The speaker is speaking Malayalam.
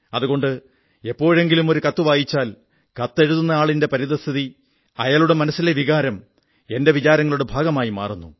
അതുകൊണ്ട് എപ്പോഴെങ്കിലും ഒരു കത്തു വായിച്ചാൽ കത്തെഴുതുന്നയാളിന്റെ പരിസ്ഥിതി അയാളുടെ മനസ്സിലെ വികാരം എന്റെ വിചാരങ്ങളുടെ ഭാഗമായി മാറുന്നു